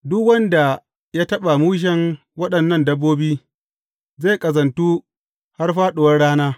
Duk wanda ya taɓa mushen waɗannan dabbobi, zai ƙazantu har fāɗuwar rana.